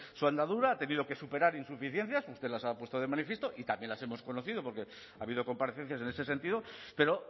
su andadura ha tenido que superar insuficiencias usted las ha puesto de manifiesto y también las hemos conocido porque ha habido comparecencias en ese sentido pero